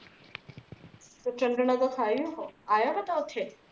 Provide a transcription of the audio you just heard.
ਤੇ ਚੰਦ ਨਾ ਤਾ ਥਾ ਹੀ ਓਹ ਆਇਆ ਓਹਿਆ ਥਾ ਉਥੇ